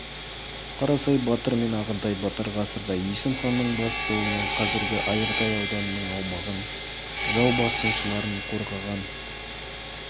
қарасай батыр мен ағынтай батыр ғасырда есім ханның бастауымен қазіргі айыртау ауданының аумағын жау басқыншыларынан қорғаған